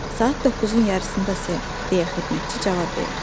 Saat 9-un yarısında, ser, deyə xidmətçi cavab verdi.